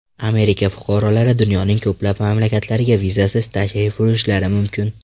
Amerika fuqarolari dunyoning ko‘plab mamlakatlariga vizasiz tashrif buyurishlari mumkin.